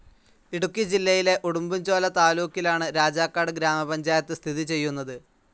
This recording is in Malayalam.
ഇടുക്കി ജില്ലയിലെ ഉടുമ്പൻചോല താലൂക്കിലാണ് രാജാക്കാട് ഗ്രാമപഞ്ചായത്ത് സ്ഥിതി ചെയ്യുന്നത്.